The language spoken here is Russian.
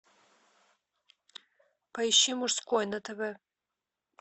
поищи мужской на тв